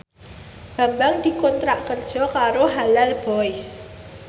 Bambang dikontrak kerja karo Halal Boys